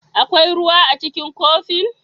Akwai ruwa a cikin kofin?